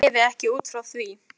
Ég lifi ekki út frá því.